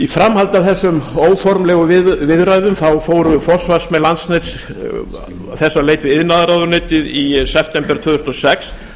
framhaldi af þessum óformlegu viðræðum fóru forsvarsmenn landsnets þess á leit við iðnaðarráðuneytið í september tvö þúsund og sex